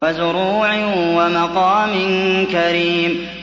وَزُرُوعٍ وَمَقَامٍ كَرِيمٍ